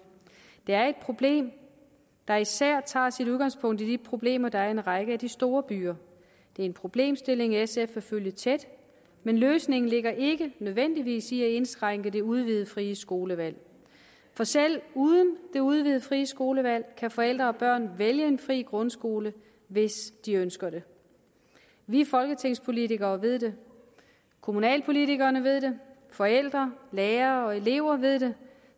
det er et problem der især tager sit udgangspunkt i de problemer der er i en række af de store byer det er en problemstilling sf vil følge tæt men løsningen ligger ikke nødvendigvis i at indskrænke det udvidede frie skolevalg for selv uden det udvidede frie skolevalg kan forældre og børn vælge en fri grundskole hvis de ønsker det vi folketingspolitikere ved det kommunalpolitikere ved det forældre lærere og elever ved det